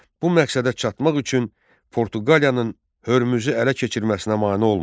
Bu məqsədə çatmaq üçün Portuqaliyanın Hörmüzü ələ keçirməsinə mane olmadı.